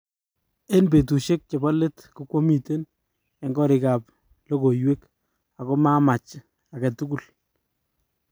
Eng petushek chepo let kokwamiten en korik ap logowek ago mamach angetugul.